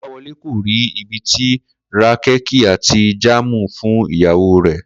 Kó̩láwo̩lé kò rí ibi ti ra kéèkì àti jáàmù fún ìyàwó rè̩